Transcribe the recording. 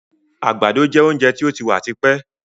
Àgbàdo jẹ oúnjẹ tí ó ti wà tipẹ́.